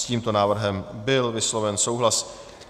S tímto návrhem byl vysloven souhlas.